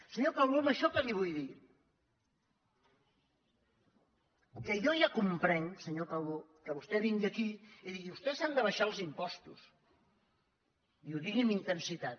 senyor calbó amb això què li vull dir que jo ja comprenc senyor calbó que vostè vingui aquí i digui vostès han d’abaixar els impostos i ho digui amb intensitat